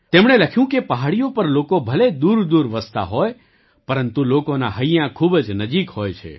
તેમણે લખ્યું કે પહાડીઓ પર લોકો ભલે દૂરદૂર વસતા હોય પરંતુ લોકોનાં હૈયાં ખૂબ જ નજીક હોય છે